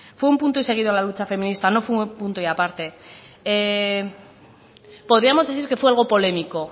fue un punto y seguido en la lucha feminista no fue un punto y aparte podríamos decir que fue algo polémico